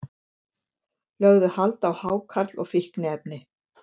Lögðu hald á hákarl og fíkniefni